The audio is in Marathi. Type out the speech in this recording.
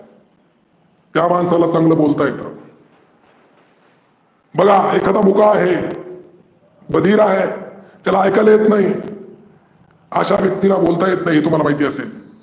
त्या मानसाला चांगल बोलता येतं. बघा एखादा मुका आहे बधीर आहे त्याला ऐकायला येत नाही आशा व्यक्तीला बोलता येत नाही हे तुम्हाला महीत असेल.